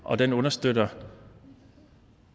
og den understøtter